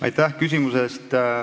Aitäh küsimuse eest!